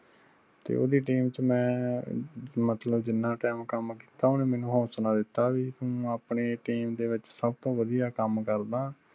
ਤੇ ਓਹਦੀ team ਚ ਮੈ ਮਤਲਬ ਜਿਨ੍ਹਾਂ ਕਿਆ ਓਹ ਕੰਮ ਕੀਤਾ ਓਹਨੇ ਮਨੁ ਹੋਂਸਲਾ ਦਿਤਾ ਵੀ ਤੂੰ ਆਪਣੇ team ਦੇ ਵਿਚ ਸਬ ਤੋ ਵਧਿਆ ਕੰਮ ਕਰਦਾਂ।